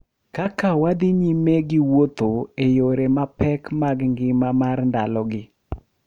Kaka wadhi nyime gi wuotho ​​e yore mapek mag ngima mar ndalogi,